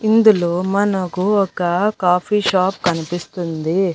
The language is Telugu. ఇందులో మనకు ఒక కాఫీ షాప్ కనిపిస్తుంది.